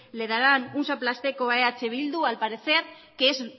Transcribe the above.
le darán un zaplastako a eh bildu al parecer que es